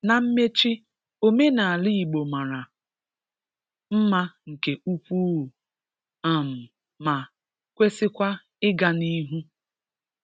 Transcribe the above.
Na mmechi, omenala Ìgbò mara mma nke ukwuu um ma kwesịkwa ịga n’ihu.